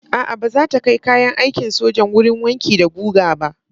A'a, ba za ta kai kayan aikin sojan wurin wanki da guga ba.